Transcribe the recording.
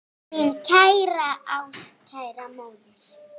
Mín kæra, ástkæra móðir.